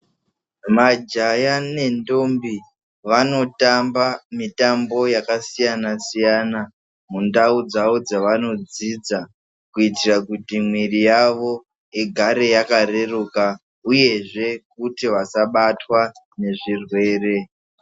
Majaya nendombi vanoramba mutambo yakasiyana siyana mundau dzawo dzaanodzidza kuitira kuti muiri yavo igare yakareruka uyezve vasabatwa ngezvirwere.